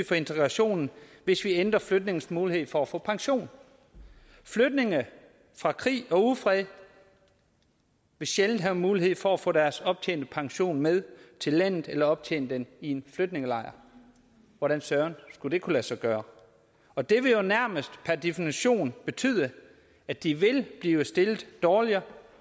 for integrationen hvis vi ændrer flygtninges mulighed for at få pension flygtninge fra krig og ufred vil sjældent have mulighed for at få deres optjente pension med til landet eller optjene den i en flygtningelejr hvordan søren skulle det kunne lade sig gøre og det vil jo nærmest per definition betyde at de vil blive stillet dårligere